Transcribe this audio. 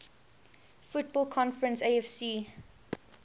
football conference afc